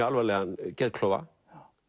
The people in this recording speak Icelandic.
alvarlegan geðklofa